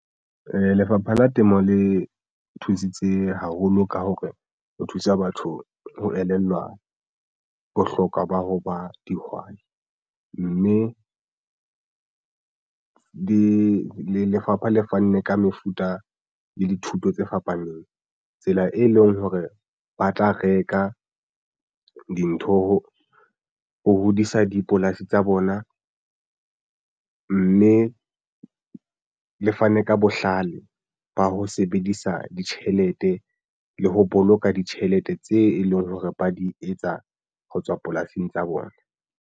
Lefapha la Temo le thusitse haholo ka hore ho thusa batho ho elellwa bohlokwa ba ho ba dihwai mme lefapha le fanne ka mefuta le dithuto tse fapaneng tsela e leng hore ba tla reka dintho ho hodisa dipolasi tsa bona mme le fane ka bohlale ba ho sebedisa ditjhelete le ho boloka ditjhelete tse e leng hore ba di etsa ho tswa polasing tsa bona.